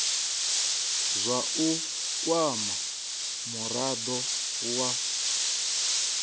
zwa u kwama murado wa